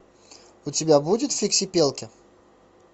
у тебя будет фиксипелки